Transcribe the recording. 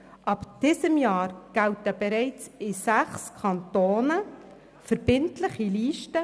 Ab 2018 gelten bereits in sechs Kantonen verbindliche Listen.